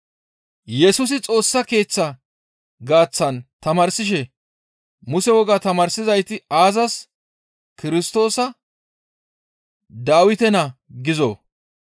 Yesusi Xoossa Keeththa gaaththan tamaarsishe, «Muse wogaa tamaarsizayti aazas, ‹Kirstoosa Dawite naa› gizoo?